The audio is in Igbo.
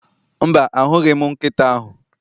Mba, ahụghị m nkịta ahụ